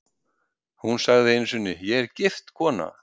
Hún sagði einu sinni: Ég er gift kona.